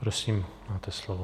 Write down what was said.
Prosím, máte slovo.